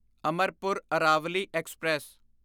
Amarpur Aravali express